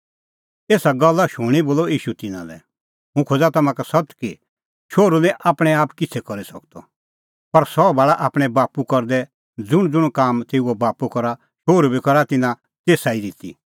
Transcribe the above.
एसा गल्ला शूणीं बोलअ ईशू तिन्नां लै हुंह खोज़ा तम्हां का सत्त कि शोहरू निं आपणैं आप किछ़ै करी सकदअ पर सह भाल़ा आपणैं बाप्पू करदै ज़ुंणज़ुंण काम तेऊओ बाप्पू करा शोहरू बी करा तिन्नां तेसा ई रिती